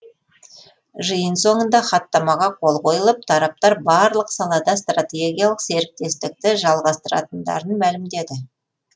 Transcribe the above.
жиын соңында хаттамаға қол қойылып тараптар барлық салада стратегиялық серіктестікті жалғастыратындарын мәлімдеді